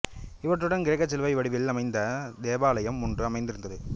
இவற்றுடன் கிரேக்கச் சிலுவை வடிவில் அமைந்த தேவாலயம் ஒன்றும் அமைந்திருந்தது